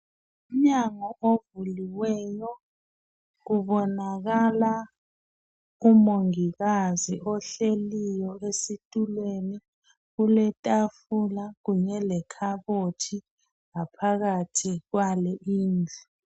Umnyango ovuliweyo kubonakala umongikazi ohleliyo esitulweni kuletafula kunye lekhabothi ngaphakathi kwale indlu.